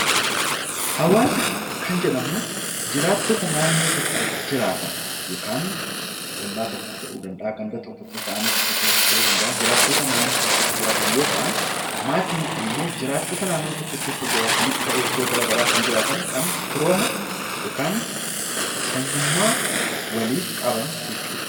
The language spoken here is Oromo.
Hawaasa kan jedhaman jiraattota naannoo tokko jiraatan yookaan ollaa tokko ta'uu danda'a kan Ganda tokko keessa aanaa tokko keessas ta'uu danda'a jiraattota naannoo tokko keessa jiraatan yoo ta'an, maatiin immoo jiraattota naannoo tokko keessa jiraatan ta'ee iddoo garaagaraa firooma yookiin sanyummaa waliif qaban jechuudha.